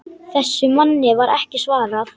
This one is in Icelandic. Þessum manni var ekki svarað.